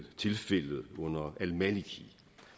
tilfældet under al maliki